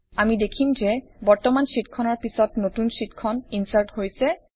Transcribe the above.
আমি দেখিম যে বৰ্তমান শ্বিটখনৰ পিছত নতুন শ্বিটখন ইনচাৰ্ট হৈছে